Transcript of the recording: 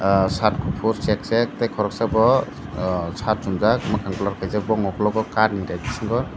ahh shirt kufur chek chek koroksa bo shirt chumjak mwkhang blur kaijak bo ni ukologo kat ni Rai bisingo.